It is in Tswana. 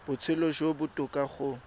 botshelo jo bo botoka go